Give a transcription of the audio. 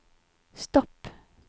stopp